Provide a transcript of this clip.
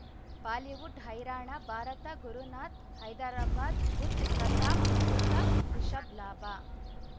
Bollywood ಹೈರಾಣ ಭಾರತ ಗುರುನಾಥ್ ಹೈದರಾಬಾದ್ ಬುಧ್ ಪ್ರತಾಪ್ ಯೂಸಫ್ ರಿಷಬ್ ಲಾಭ